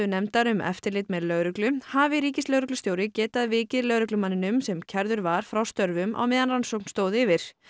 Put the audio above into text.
nefndar um eftirlit með lögreglu hafi ríkislögreglustjóri getað vikið lögreglumanninum sem kærður var frá störfum á meðan rannsókn stóð yfir